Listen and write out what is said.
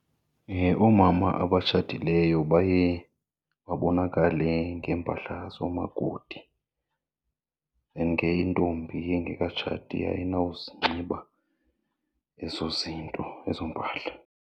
Oomama abatshatileyo baye babonakale ngeempahla zoomakoti and ke intombi engekatshati ayinozinxiba ezo zinto, ezo mpahla.